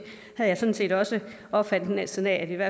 har jeg sådan set også opfattelsen af er